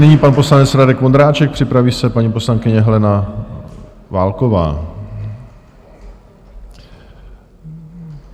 Nyní pan poslanec Radek Vondráček, připraví se paní poslankyně Helena Válková.